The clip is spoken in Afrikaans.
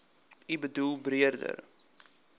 u boedel beredder